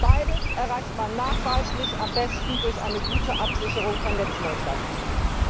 Beides erreicht man nachweislich am besten durch eine gute Absicherung von Netzneutralität.